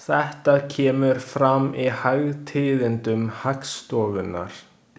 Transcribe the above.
Þetta kemur fram í hagtíðindum Hagstofunnar.